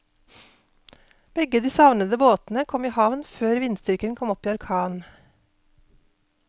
Begge de savnede båtene kom i havn før vindstyrken kom opp i orkan.